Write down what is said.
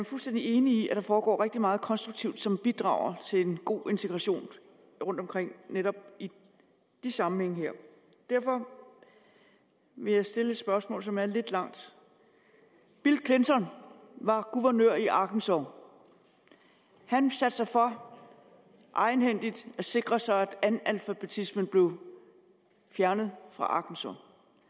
fuldstændig enig i at der foregår rigtig meget konstruktivt som bidrager til en god integration rundtomkring i netop de sammenhænge her og derfor vil jeg stille et spørgsmål som er lidt langt bill clinton var guvernør i arkansas og han satte sig for egenhændigt at sikre sig at analfabetismen blev fjernet fra arkansas